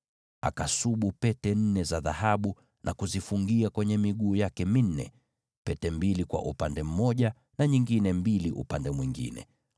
Akasubu pete nne za dhahabu na kuzifungia kwenye miguu yake minne, pete mbili kwa upande mmoja na pete mbili kwa upande mwingine.